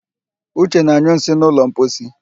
Uche na-anyụ nsị n'ụlọ mposi